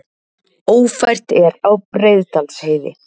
Ófært er á Breiðdalsheiði